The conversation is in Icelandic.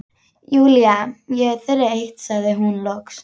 Júlía, ég er þreytt sagði hún loks.